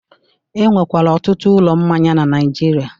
E nwekwara ọtụtụ ụlọ mmanya na Naịjirịa